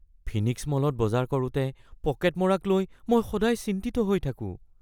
Phoenix মলত বজাৰ কৰোঁতে পকেট মৰাক লৈ মই সদায় চিন্তিত হৈ থাকোঁ।